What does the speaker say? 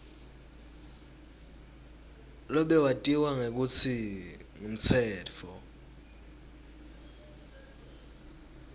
lobewatiwa ngekutsi ngumtsetfo